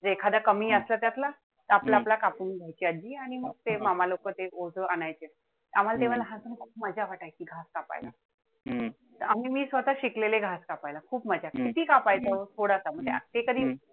म्हणजे एखादं कमी असलं तर आपलं-आपलं कापून घायची आजी. आणि मग ते मामा लोकं ते वर आणायचे. आम्हाला तेव्हा लहानपणी मजा वाटायची कापायला. आणि मी स्वतः शिकलेले कापायला. खूप मजा. किती कापायचो? अगदी थोडासा,